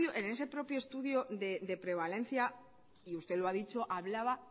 en ese propio estudio de prevalencia y usted lo ha dicho hablaba